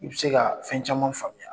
I bɛ se ka fɛn caman faamuya